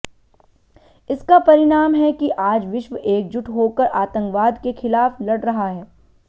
इसका परिणाम है कि आज विश्व एकजुट होकर आतंकवाद के खिलाफ लड़ रहा है